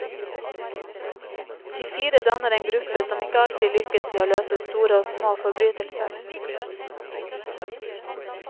De fire danner en gruppe som ikke alltid lykkes i å løse store og små forbrytelser.